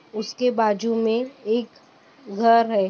उसके बाजू में एक घर है।